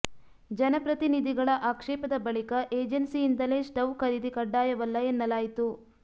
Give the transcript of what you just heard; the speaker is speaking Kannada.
ಜನಪ್ರತಿನಿಧಿಗಳ ಆಕ್ಷೇಪದ ಬಳಿಕ ಏಜೆನ್ಸಿ ಯಿಂದಲೇ ಸ್ಟವ್ ಖರೀದಿ ಕಡ್ಡಾಯವಲ್ಲ ಎನ್ನಲಾಯಿತು